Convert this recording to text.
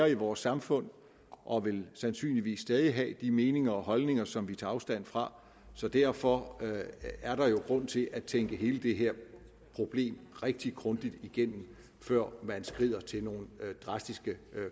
i vores samfund og vil sandsynligvis stadig have de meninger og holdninger som vi tager afstand fra så derfor er der jo grund til at tænke hele det her problem rigtig grundigt igennem før man skrider til nogen drastiske